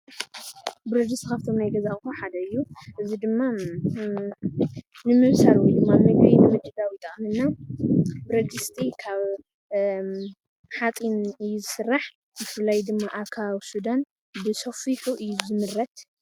ብረድስቲ ካብቶም ናይ ገዛ ኧቅሑ ሓደ እዩ፡፡ እዚ ድማ ንምብሳል ወይድማ ምግቢ ንምዝግጃው ይጠቅመና፣ ብረድስቲ ካብ ሓፂን እዩ ዝስራሕ፣ ብፍላይ ድማ ኣብ ከባቢ ሱዳን ብሰፊሑ እዩ ዝምረት፡፡